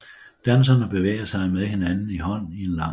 Danserne bevæger sig med hinanden i hånden i en lang række